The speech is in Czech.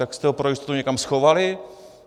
Tak jste ho pro jistotu někam schovali?